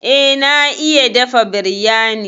Eh, na iya dafa biryani.